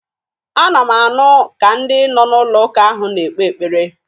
Ana m anụ ka ndị nọ n'ụlọụka ahụ na-ekpe ekpere.